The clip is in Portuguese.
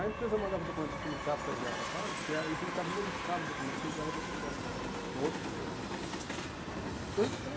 A empresa mandava o documento para o sindicato para enviar para a fábrica e a o sindicato modificava o documento e enviava de outra forma, com outros dizeres, prejudicando.